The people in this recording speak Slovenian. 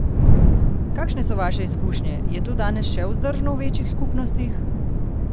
Kakšne so vaše izkušnje, je to danes še vzdržno v večjih skupnostih?